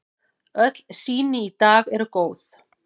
Öll sýni í dag eru góð.